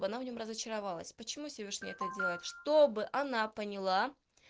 в она в нем разочаровалась почему всевышний это делает чтобы она поняла